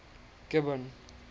gibbon